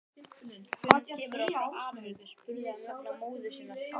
Hvenær kemur hann frá Ameríku, spurði hann vegna móður sinnar.